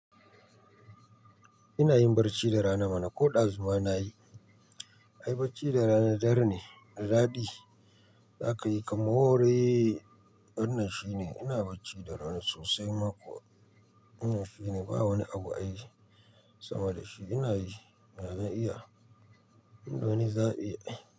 Ina yin barci da rana mana, ko ɗazu ma nayi. Ai bacci da rana dar ne, da daɗi zaka yi ka more. Wannan shine, ina bacci da rana sosai ma kuwa. Wannan shine, ba wani abu ai sama da shi. Ina yi, da na iya. Inda wani zaɓi.